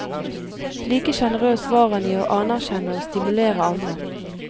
Like generøs var han i å anerkjenne og stimulere andre.